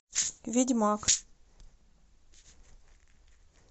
ведьмак